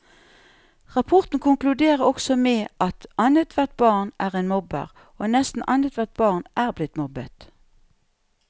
Rapporten konkluderer også med at annethvert barn er en mobber, og nesten annethvert barn er blitt mobbet.